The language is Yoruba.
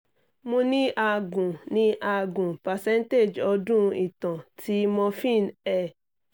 mo ni a gun ni a gun percent odun itan ti morphine er